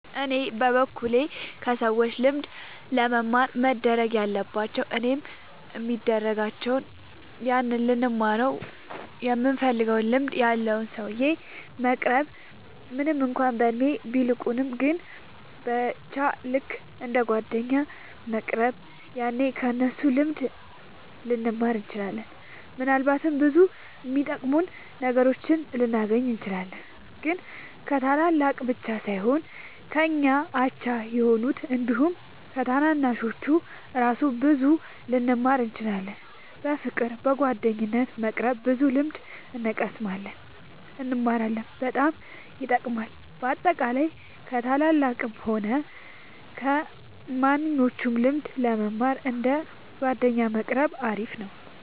እኔ በበኩሌ ከሰዎች ልምድ ለመማር መደረግ ያለባቸው እኔም የሚደርጋቸው ያንን ልንማረው ይምንፈልገውን ልምድ ያለውን ሰውዬ መቅረብ ምንም እንኳን በእድሜ ቢልቁንም ግን በቻ ልክ እንደ ጓደኛ መቅረብ ያኔ ከ እነሱ ብዙ ልንማር እንችላለን። ምናልባትም ብዙ የሚጠቅሙ ነገሮችን ልናገኝ እንችላለን። ግን ከታላላቅ ብቻ ሳይሆን ከኛ አቻ ከሆኑት አንዲሁም ከታናናሾቹ እራሱ ብዙ ልንማር እንችላለን። በፍቅር በጓደኝነት በመቅረብ ብዙ ልምድ እንቀስማለን እንማራለን በጣም ይጠቅማል። በአጠቃላይ ከ ታላላቅም ሆነ ከማንኞቹም ልምድ ለመማር እንደ ጓደኛ መቆረብ አሪፍ ነው